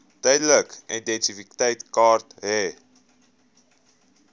tydelike identiteitsertifikaat hê